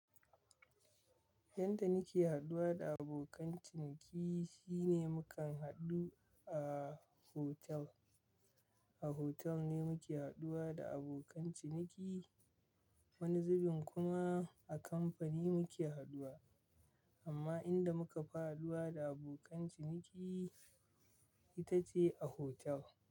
Yadda muke haduwa da abokan ciniki shine mukan hadu a hotel. A hotel ne muke haduwa da abokan ciniki, wani zubin kuma a kamfani muke haduwa. Amma inda muka fi haduwa da abokan ciniki ita ce a hotel.